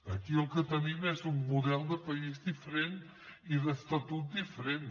aquí el que tenim és un model de país diferent i d’estatut diferent